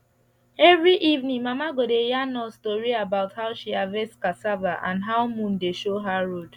every evening mama go dey yarn us tori about how she harvest cassava and how moon dey show her road